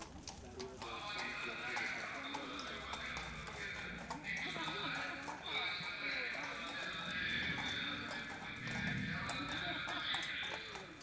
ஆஹ் okay sir அது நாங்க add பண்ணமாட்டோம் sir அது நாங்க பாத்துக்குடுதோம் sir okay வா sir நீங்க சொன்னதால உங்களுக்கு நாங்க special லா கண்டிப்பா நாங்க வந்து இதை வந்து உங்க எல்லாத்துக்குமே உங்களுக்கு தேவ~ தேவை இல்லாத channel எல்லாமே நாங்க hide பண்ணிடுறோம் sir